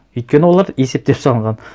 өйткені олар есептеп салынған